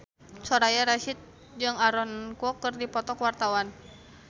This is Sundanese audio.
Soraya Rasyid jeung Aaron Kwok keur dipoto ku wartawan